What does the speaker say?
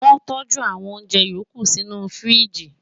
wọ́n tọ́jú àwọn oúnjẹ yòókù sínú u fíríjì